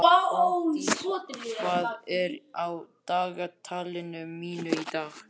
Fanndís, hvað er á dagatalinu mínu í dag?